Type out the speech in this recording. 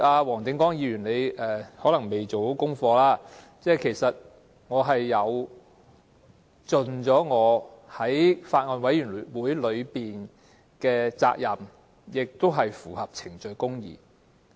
黃定光議員可能沒做好功課，其實我已盡了作為法案委員會委員的責任，做法也符合程序公義。